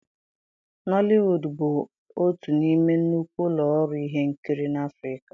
nollywood bụ otu n'ime nnukwu ụlọ ọrụ ihe nkiri na Afirika.